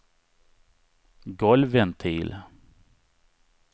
golvventil